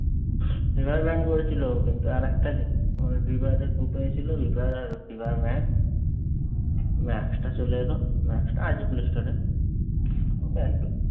না plan করেছিল। কিন্তু আরেকটা ফ্রি ফায়ার এর group এ ছিল। ফ্রি ফায়ার আর ফ্রি ফায়ার ম্যাক্স। ম্যাক্সটা চলে এলো। ম্যাক্সটা আছে প্লেস্টোর এ।